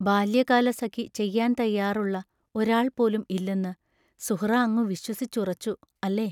ബാല്യകാലസഖി ചെയ്യാൻ തയ്യാറുള്ള ഒരാൾ പോലും ഇല്ലെന്ന് സുഹ്റാ അങ്ങു വിശ്വസിച്ചുറച്ചു, അല്ലേ?